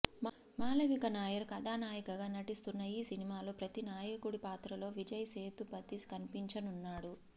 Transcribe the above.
మాళవిక నాయర్ కథానాయికగా నటిస్తున్న ఈ సినిమాలో ప్రతినాయకుడి పాత్రలో విజయ్ సేతుపతి కనిపించనున్నాడు